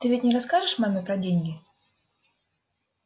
ты ведь не расскажешь маме про деньги